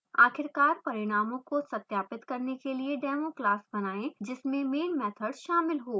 आखिरकार परिणामों को सत्यापित करने के लिए demo class बनाएँ जिसमें main मैथड शामिल हो